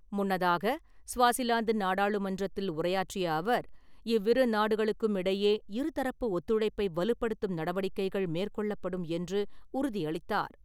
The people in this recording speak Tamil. முன்னதாக, ஸ்வாசிலாந்து நாடாளுமன்றத்தில் உரையாற்றிய அவர், இவ்விரு நாடுகளுக்கும் இடையே இருதரப்பு ஒத்துழைப்பை வலுப்படுத்தும் நடவடிக்கைகள் மேற்கொள்ளப்படும் என்று உறுதியளித்தார்.